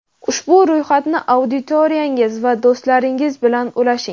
ushbu ro‘yxatni auditoriyangiz va do‘stlaringiz bilan ulashing.